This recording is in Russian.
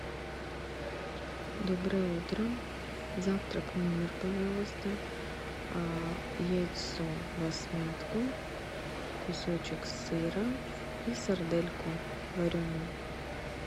доброе утро завтрак в номер пожалуйста яйцо всмятку кусочек сыра и сардельку вареную